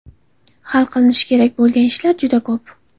Hali qilinishi kerak bo‘lgan ishlar juda ko‘p.